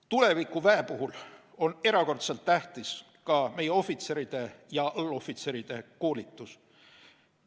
Tulevikuväe puhul on erakordselt tähtis ka meie ohvitseride ja allohvitseride koolitus.